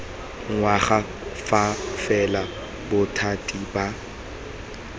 ngwaga fa fela bothati ba